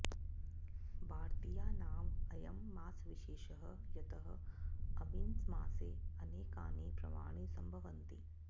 भारतीयानाम् अयं मास विशेषः यतः अमिन् मासे अनेकानि पर्वाणि सम्भवन्ति